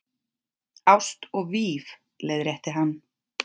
Ást og víf- leiðrétti hann.